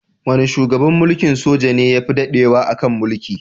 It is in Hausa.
Wane shugaban mulkin soja ne yafi daɗewa a kan mulki?